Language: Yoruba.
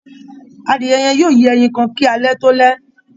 Adìẹ yẹ́n yóò yé ẹyin kan kí alẹ́ tó lẹ́